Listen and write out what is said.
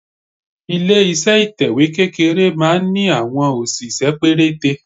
Ilé iṣẹ́ ìtẹ̀wẹ́ kékeré máa ń ní àwọn òṣìṣẹ́ pérété.